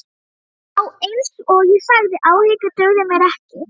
Já, einsog ég sagði, áhyggjur dugðu mér ekki.